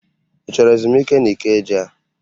Ị chọrọ ezumike n'Ikeja?